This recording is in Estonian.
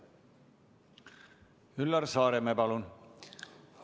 Üllar Saaremäe, palun!